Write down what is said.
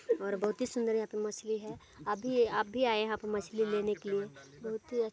--और बहुत ही सुन्दर यहाँ पे मछली है अभी आप भी आये यहाँ पे मछली लेने के लिए। बहुत ही ----